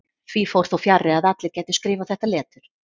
Því fór þó fjarri að allir gætu skrifað þetta letur.